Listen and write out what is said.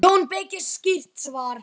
JÓN BEYKIR: Skýrt svar!